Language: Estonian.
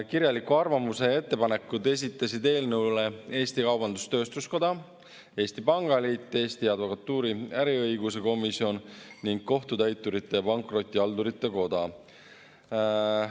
Kirjaliku arvamuse ja ettepanekud esitasid eelnõu kohta Eesti Kaubandus-Tööstuskoda, Eesti Pangaliit, Eesti Advokatuuri äriõiguse komisjon ning Kohtutäiturite ja Pankrotihaldurite Koda.